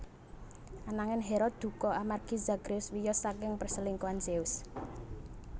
Anangin Hera dukha amargi Zagreus wiyos saking perselingkuhan Zeus